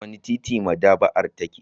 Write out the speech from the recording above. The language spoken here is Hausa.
A wane titi maɗaba'ar take?